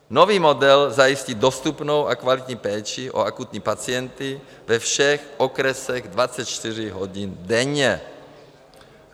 Nový model zajistí dostupnou a kvalitní péči o akutní pacienty ve všech okresech 24 hodin denně.